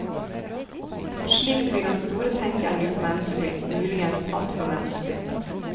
Slik blir den store tenkeren gjort menneskelig, muligens altfor menneskelig.